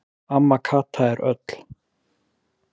Amma Kata er öll.